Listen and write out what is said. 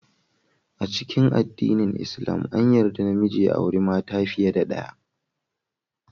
A cikin addinin lslam, an yarda namiji ya auri mata fiye da daya.